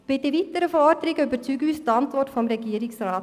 Bei den weiteren Forderungen überzeugt uns die Antwort des Regierungsrats.